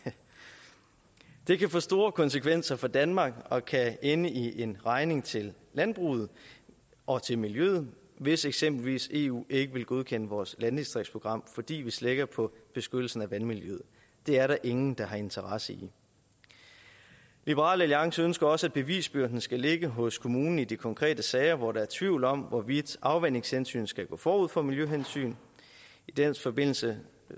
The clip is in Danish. det kan få store konsekvenser for danmark og kan ende i en regning til landbruget og til miljøet hvis eksempelvis eu ikke vil godkende vores landdistriktsprogram fordi vi slækker på beskyttelsen af vandmiljøet det er der ingen der har interesse i liberal alliance ønsker også at bevisbyrden skal ligge hos kommunen i de konkrete sager hvor der er tvivl om hvorvidt afvandingshensyn skal gå forud for miljøhensyn i den forbindelse